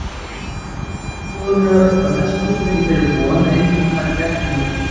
Ég labba nú hljóðlega uppað hesthúsinu í þeirri von að enginn taki eftir mér.